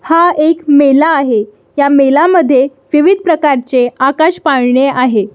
हा एक मेला आहे ह्या मेला मध्ये विविध प्रकारचे आकाश पाळणे आहे.